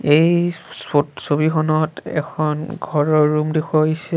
এই ছত ছবিখনত এখন ঘৰৰ ৰুম দেখুওৱা হৈছে।